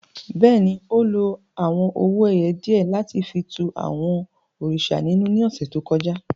Bẹ́ẹ̀ni, o lo awọn owo-ẹyẹ diẹ lati fi tú àwọn òrìṣà ninú ni ọsẹ to kọja.